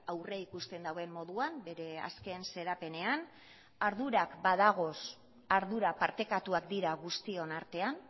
aurreikusten duen moduan bere azken xedapenean ardurak badaude ardurak partekatuak dira guztion artean